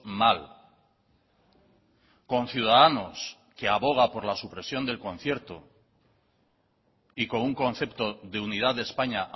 mal con ciudadanos que aboga por la supresión del concierto y con un concepto de unidad de españa